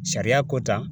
Sariya ko ta